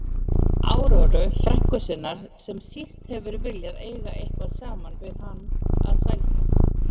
Áróru, frænku sinnar, sem síst hefur viljað eiga eitthvað saman við hann að sælda.